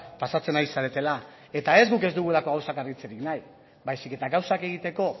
pasatzen ari zaretela eta ez guk ez dugulako gauzak argitzerik nahi baizik eta gauzak egiteko